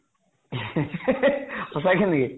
সঁচাকে নেকি?